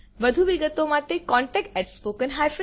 વધુ વિગતો માટે contactspoken tutorialorg પર સંપર્ક કરો